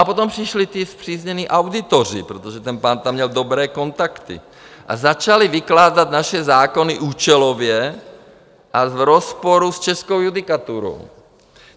A potom přišli ti spříznění auditoři, protože ten pán tam měl dobré kontakty, a začali vykládat naše zákony účelově a v rozporu s českou judikaturou.